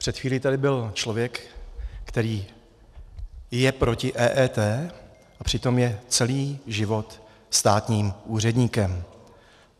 Před chvíli tady byl člověk, který je proti EET, a přitom je celý život státním úředníkem.